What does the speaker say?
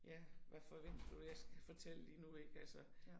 Ja hvad forventer du jeg skal fortælle lige nu ik altså